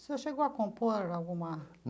O senhor chegou a compor alguma?